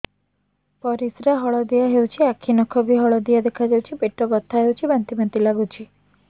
ପରିସ୍ରା ହଳଦିଆ ହେଉଛି ଆଖି ନଖ ବି ହଳଦିଆ ଦେଖାଯାଉଛି ପେଟ ବଥା ହେଉଛି ବାନ୍ତି ବାନ୍ତି ଲାଗୁଛି